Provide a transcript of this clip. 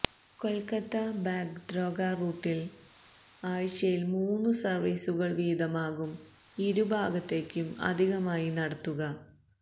കൊൽക്കത്ത ബാഗ്ദോഗ്ര റൂട്ടിൽ ആഴ്ചയിൽ മൂന്നു സർവീസുകൾ വീതമാകും ഇരു ഭാഗത്തേക്കും അധികമായി നടത്തുക